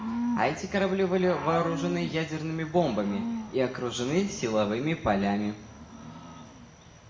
а эти корабли были вооружены ядерными бомбами и окружены силовыми полями